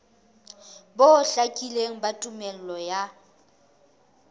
bo hlakileng ba tumello ya